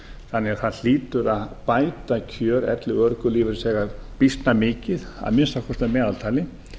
þannig að það hlýtur að bæta kjör elli og örorkulífeyrisþega býsna mikið að minnsta kosti að meðaltali